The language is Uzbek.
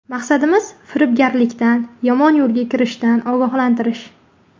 Maqsadimiz firibgarlikdan, yomon yo‘lga kirishdan ogohlantirish.